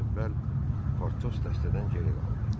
Əvvəl Partos dəstədən geri qaldı.